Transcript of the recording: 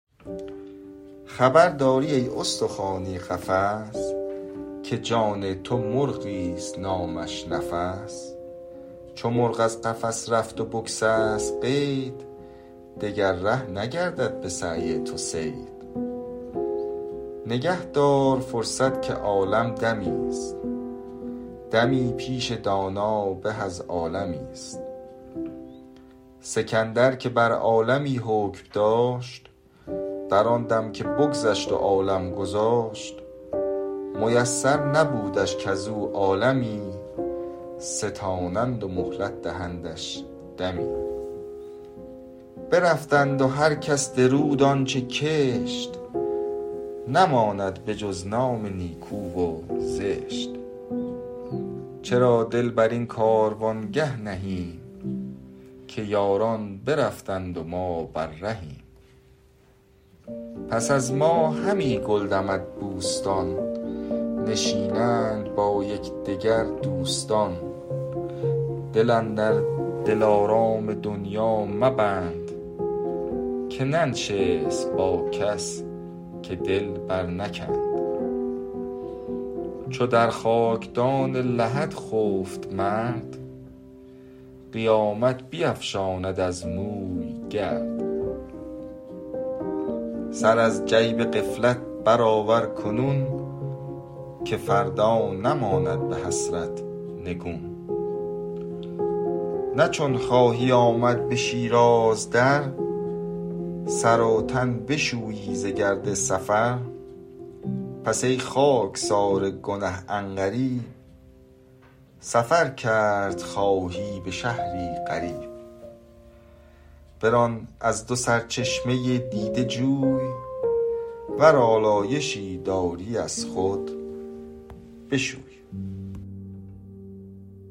خبر داری ای استخوانی قفس که جان تو مرغی است نامش نفس چو مرغ از قفس رفت و بگسست قید دگر ره نگردد به سعی تو صید نگه دار فرصت که عالم دمی است دمی پیش دانا به از عالمی است سکندر که بر عالمی حکم داشت در آن دم که بگذشت و عالم گذاشت میسر نبودش کز او عالمی ستانند و مهلت دهندش دمی برفتند و هر کس درود آنچه کشت نماند به جز نام نیکو و زشت چرا دل بر این کاروانگه نهیم که یاران برفتند و ما بر رهیم پس از ما همین گل دمد بوستان نشینند با یکدگر دوستان دل اندر دلارام دنیا مبند که ننشست با کس که دل بر نکند چو در خاکدان لحد خفت مرد قیامت بیفشاند از موی گرد سر از جیب غفلت برآور کنون که فردا نماند به حسرت نگون نه چون خواهی آمد به شیراز در سر و تن بشویی ز گرد سفر پس ای خاکسار گنه عن قریب سفر کرد خواهی به شهری غریب بران از دو سرچشمه دیده جوی ور آلایشی داری از خود بشوی